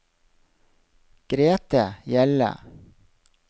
Grete Hjelle